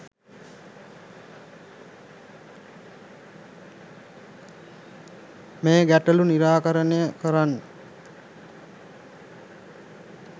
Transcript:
මේ ගැටළු නිරාකරණය කරගන්න